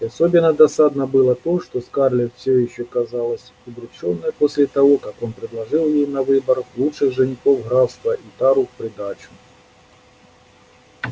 и особенно досадно было то что скарлетт всё ещё казалась удручённой после того как он предложил ей на выбор лучших женихов графства и тару в придачу